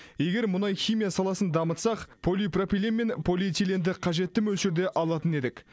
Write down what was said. егер мұнай химия саласын дамытсақ полипропилен мен полиэтиленді қажетті мөлшерде алатын едік